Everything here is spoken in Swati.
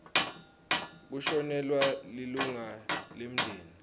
kushonelwa lilunga lemndeni